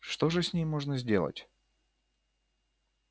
что же с ней можно сделать